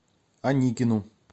аникину